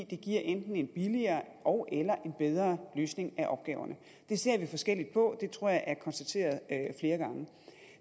det giver en billigere ogeller en bedre løsning af opgaverne det ser vi forskelligt på det tror jeg er konstateret flere gange